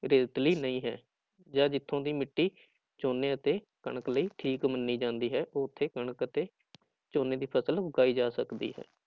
ਰੇਤਲੀ ਨਹੀਂ ਹੈ, ਜਾਂ ਜਿੱਥੋਂ ਦੀ ਮਿੱਟੀ ਝੋਨੇ ਅਤੇ ਕਣਕ ਲਈ ਠੀਕ ਮੰਨੀ ਜਾਂਦੀ ਹੈ ਉੱਥੇ ਕਣਕ ਅਤੇ ਝੋਨੇ ਦੀ ਫ਼ਸਲ ਉਗਾਈ ਜਾ ਸਕਦੀ ਹੈ।